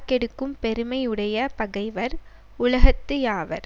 கெடுக்கும் பெருமை உடைய பகைவர் உலகத்து யாவர்